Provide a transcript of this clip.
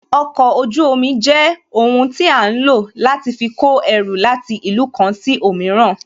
Okọ̀ ojú omi jẹ́ ohun tí a ń lò láti fi kó ẹrù láti ìlú kan sí òmíràn